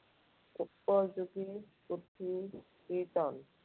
উপযোগী পুথি কীৰ্ত্তন।